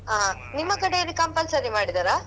ಹ ನಿಮ್ಮ ಕಡೆಯಲ್ಲಿ compulsory ಮಾಡಿದರಾ?